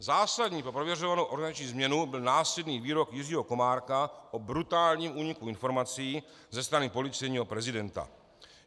Zásadní pro prověřovanou organizační změnu byl následný výrok Jiřího Komárka o "brutálním úniku informací" ze strany policejního prezidenta.